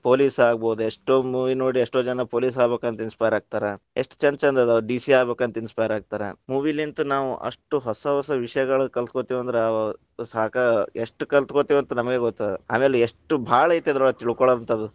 Police ಆಗ್ಬೋದ್, ಎಷ್ಟೋ movie ನೋಡಿ ಎಷ್ಟೋ ಜನಾ ಪೊಲೀಸ್‌ ಆಗಬೇಕಂತ inspire ಆಗ್ತಾರಾ. ಎಷ್ಟ ಛಂದ್ ಛಂದ್‌ ಅದಾವ DC ಆಗಬೇಕಂತ inspire ಆಗ್ತಾರಾ. movie ಲಿಂತ ನಾವು ಅಷ್ಟು ಹೊಸ ಹೊಸ ವಿಷಯಗಳು ಕಲ್ತಕೊತೀವ್‌ ಅಂದ್ರ ಅ ಸಾಕ, ಎಸ್ಟ್‌ ಕಲ್ತಕೊತೀವ್‌ ಅಂತ ನಮಗ ಗೊತ್ತದ. ಆಮೇಲೆ ಎಷ್ಟು ಭಾಳ ಐತಿ ಅದರೊಳಗ ತಿಳಕೋಳುವಂಥಾದು.